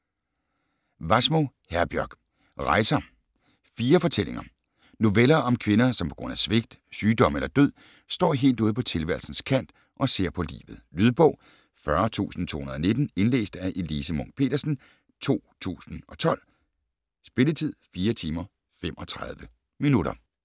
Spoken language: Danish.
Wassmo, Herbjørg: Rejser: fire fortællinger Noveller om kvinder, som på grund af svigt, sygdom eller død står helt ude på tilværelsens kant og ser på livet. Lydbog 40219 Indlæst af Elise Munch-Petersen, 2012. Spilletid: 4 timer, 35 minutter.